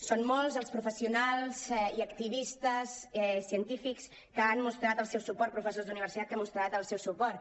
són molts els professionals i activistes científics que han mostrat el seu suport professors d’universitat que han mostrat el seu suport